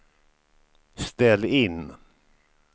ställ in